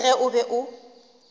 le ge o be o